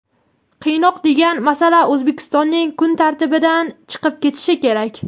qiynoq degan masala O‘zbekistonning kun tartibidan chiqib ketishi kerak.